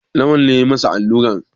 Lawal ne ya yi masa alluran.